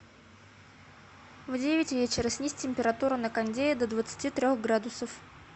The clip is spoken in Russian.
в девять вечера снизь температуру на кондее до двадцати трех градусов